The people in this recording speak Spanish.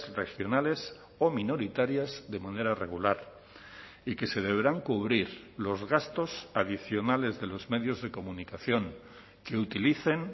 regionales o minoritarias de manera regular y que se deberán cubrir los gastos adicionales de los medios de comunicación que utilicen